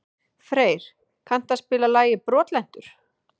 Freyr, kanntu að spila lagið „Brotlentur“?